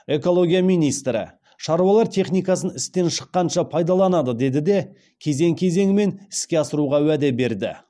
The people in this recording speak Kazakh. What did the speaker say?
экология министрі шаруалар техникасын істен шыққанша пайдаланады деді де кезең кезеңмен іске асыруға уәде берді